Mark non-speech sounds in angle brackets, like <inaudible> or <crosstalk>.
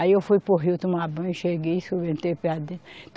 Aí eu fui para o Rio tomar banho, cheguei. <unintelligible>